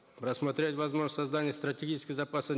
рассмотреть возможность создания стратегического запаса